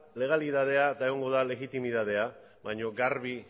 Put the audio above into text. legalitatea eta egongo da legitimitatea baina garbi